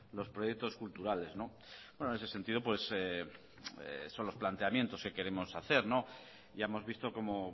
los proyectos culturales en ese sentido son los planteamientos que queremos hacer ya hemos visto como